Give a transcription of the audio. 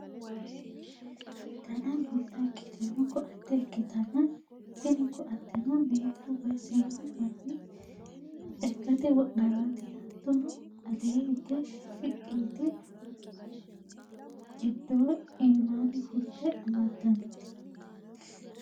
dana bulla ikkitino koatte ikkitanna, tini koatteno meentu woyi saannu manni lekkate wodhannote. hattono ale higge shiqqi yite gindeho iimaanni fulte amaddannote.